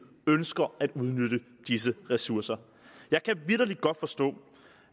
ønsker at udnytte disse ressourcer jeg kan vitterlig godt forstå